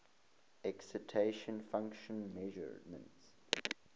excitation function measurements